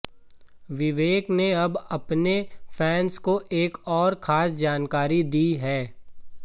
विवेक ने अब अपने फैंस को एक और खास जानकारी दी है